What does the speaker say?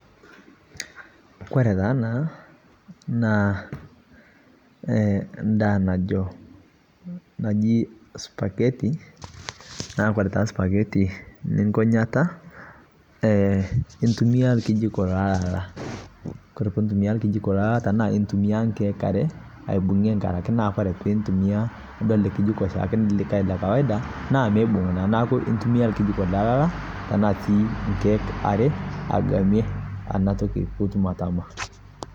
kore taa ana naa ndaa najoo najii spagheti naa kore taa spagheti ninkoo nyataa intumia lkejiko lolalaa kore pintumia nkejiko lelolaa tanaa intumia nkeek aree aibungie angarake kore pintumia du alee kejiko le kawaida naa meibung naa naaku intumia lkejiko le lalaa tanaa sii nkeek aree agamie ana toki piitum atamaa